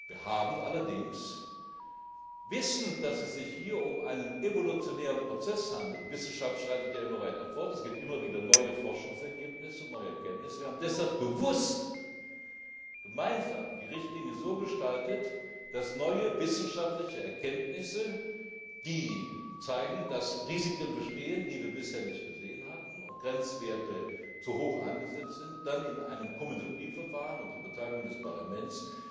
Wir haben allerdings, wissend, dass es sich hier um einen evolutionären Prozess handelt die Wissenschaft schreitet ja immer weiter fort, es gibt immer wieder neue Forschungsergebnisse, neue Erkenntnisse deshalb bewusst gemeinsam die Richtlinie so gestaltet, dass neue wissenschaftliche Erkenntnisse, die zeigen, dass Risiken bestehen, die wir bisher nicht gesehen hatten, und Grenzwerte zu hoch angesetzt sind, dann in einem Komitologieverfahren unter Beteiligung des Parlaments